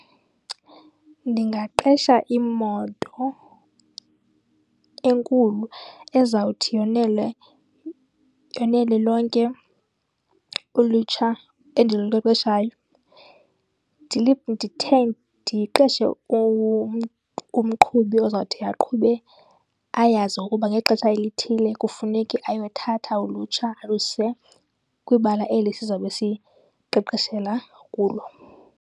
Ndingaqesha imoto enkulu ezawuthi yonele, yonele lonke ulutsha endiluqeqeshayo. Ndiqeshe umqhubi ozawuthi aqhube, ayazi ukuba ngexesha elithile kufuneke ayothatha ulutsha aluse kwibala eli sizobe siqeqeshela kulo.